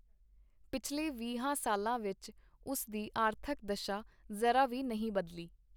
ਪਿਛਲੇ ਵੀਹਾਂ ਸਾਲਾਂ ਵਿਚ ਉਸ ਦੀ ਆਰਥਕ ਦਸ਼ਾ ਜ਼ਰਾ ਵੀ ਨਹੀਂ ਬਦਲੀ.